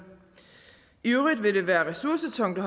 i øvrigt vil det være ressourcetungt